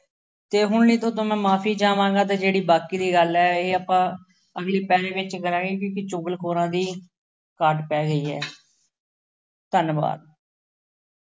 ਅਤੇ ਹੁਣ ਲਈ ਤੁਹਾਡੇ ਤੋਂ ਮੈਂ ਮੁਆਫੀ ਚਾਹਵਾਂਗਾ ਅਤੇ ਜਿਹੜੀ ਬਾਕੀ ਦੀ ਗੱਲ ਹੈ ਇਹ ਆਪਾਂ ਅਗਲੀ ਪਹਿਰੇ ਵਿੱਚ ਕਰਾਂਗੇ, ਕਿਉਂਕਿ ਚੁਗਲਖੋਰਾਂ ਦੀ ਘਾਟ ਪੈ ਗਈ ਹੈ। ਧੰਨਵਾਦ।